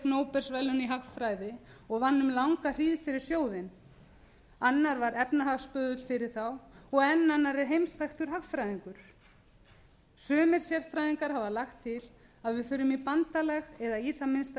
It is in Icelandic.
nóbelsverðlaun í hagfræði og vann um langa hríð fyrir sjóðinn annar var efnahagsböðull fyrir þá og enn annar er heimsþekktur hagfræðingur sumir sérfræðingar hafa lagt til að við förum í bandalag eða í það minnsta